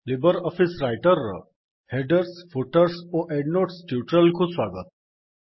Libre Office Writer ର headers footers ଓ endnotes tutorial କୁ ସ୍ୱାଗତ